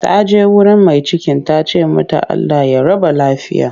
Ta je wurin mai cikin ta ce mata 'Allah ya raba lafiya'